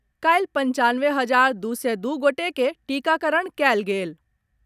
काल्हि पंचानवे हजार दू सय दू गोटे के टीकाकरण कयल गेल।